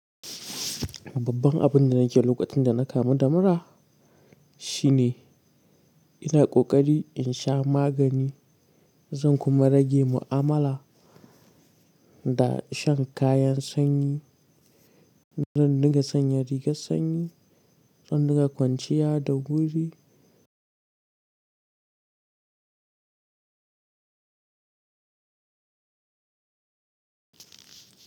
Babban abin da nake lokacin da na kamu da mura shine ina ƙoƙari in sha magani, zan kuma rage mu'amala da shan kayan sanyi. Zan dinga sanya rigar sanyi, zan dinga kwanciya da wuri.